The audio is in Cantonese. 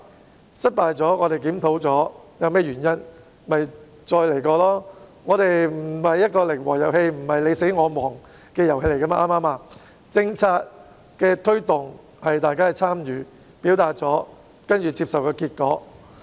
在失敗後，我們檢討究竟原因何在，然後重新再來便可，因為這既不是一個零和遊戲，亦不是你死我亡，政策的推動是由大家參與，在表達意見後接受結果。